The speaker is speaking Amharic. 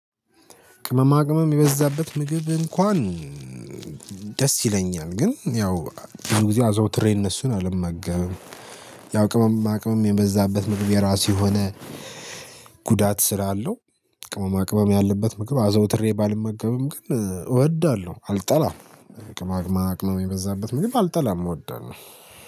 ቅመማ ቅመም የበዛበት ምግብ እንኳን ደስ ይለኛል ግን ያው ጥሩ ጊዜ አዘውትሬ እነሱን አልመገብም። ያው ቅመማ ቅመም የበዛበት ምግብ የራሱ የሆነ ጉዳት ስላለው ቅመማ ቅመም ያለበት ምግብ አዘውትሬ ባልመገበም ግን እወዳለሁ አልጠላም። ቅመማ ቅመም የበዛበት ምግብ አልጠላም እወዳለሁ